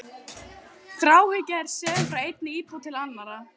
Þráhyggja er söm frá einni íbúð til annarrar.